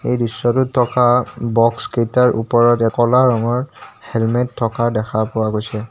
এই দৃশ্যটোত থকা বক্সকেইটাৰ ওপৰতে ক'লা ৰঙৰ হেলমেট থকা দেখা পোৱা গৈছে।